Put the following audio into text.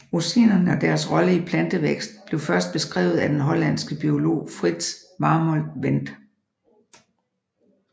Auxinerne og deres rolle i plantevækst blev først beskrevet af den hollandske biolog Frits Warmolt Went